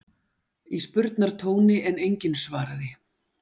í spurnartóni en enginn svaraði.